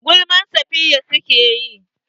Gulmar Safiya suke yi.